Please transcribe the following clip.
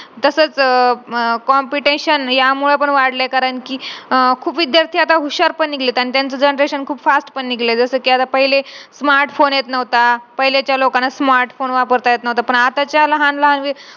तसच अह अह competition यामुळे पण वाढल्या आहे करण कि अह खूप विद्यार्थी आता हुशार पण निघलेत आणि त्यांचा generation खूप fast पण निघलय जस कि आता पहिले smart phone येत नव्हता पाहिलेच्या लोकांना smart phone वापरता येत नव्हता पण आताच्या लहान लहान